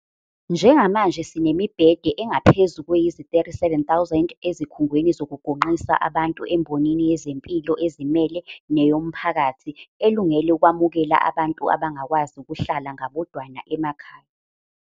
Njengamanje sinemibhede engaphezu kweziyi-37,000 ezikhungweni zokugonqisa abantu embonini yezempilo ezimele neyomphakathi, elungele ukwamukela abantu abangakwazi ukuhlala ngabodwana emakhaya.